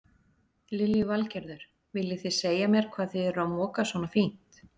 Lillý Valgerður: Viljið þið segja mér hvað þið eruð að moka svona fínt?